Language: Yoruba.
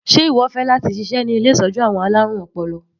Sé ìwọ fẹ́ láti ṣiṣẹ́ ní ilé ìtọ́jú àwọn alárùn ọpọlọ?